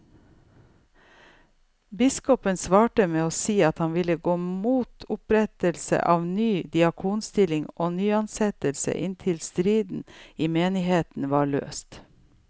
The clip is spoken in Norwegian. Biskopen svarte med å si at han ville gå mot opprettelse av ny diakonstilling og nyansettelser inntil striden i menigheten var løst.